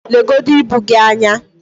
legodu ibu gị anyị